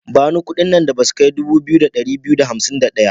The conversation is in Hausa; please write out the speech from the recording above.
Bani kudin nan da ba su kai 2251.